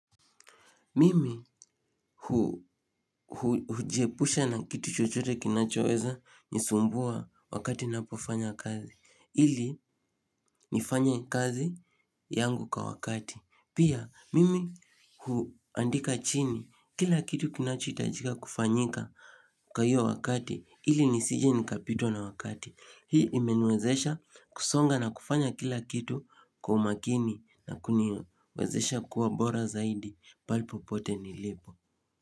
Mimi hujiepusha na kitu chochote kinachoweza nisumbua wakati napofanya kazi. Ili nifanye kazi yangu kwa wakati. Pia, mimi huandika chini. Kila kitu kinachohitajika kufanyika kwa hiyo wakati. Ili nisije nikapitwa na wakati. Hii imeniwezesha kusonga na kufanya kila kitu kwa umakini na kuniwezesha kuwa bora zaidi pahali popote nilipo.